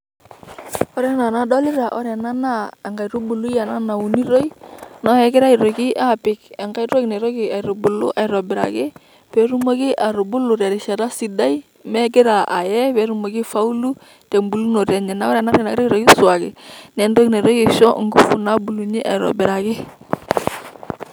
Ore ena enadolita, ore ena naa enkaitubului ena naunitoi. Na kegirai aitoki apik enkae toki naitoki aitubulu aitobiraki, petumoki atubulu terishata sidai megira ae, petumoki aifaulu, tebulunoto enye. Na ore ena nagirai aisuaki, na enkae toki naitoki aisho ngufu aitobiraki.